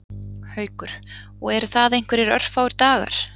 Haukur: Og eru það einhverjir örfáir dagar?